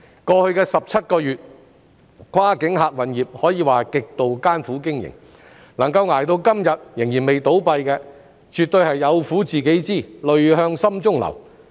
過去17個月，跨境客運業可謂極度艱苦經營，能夠捱到今天仍未倒閉的，絕對是"有苦自己知，淚向心中流"。